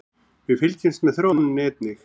Við fylgjumst með þróuninni einnig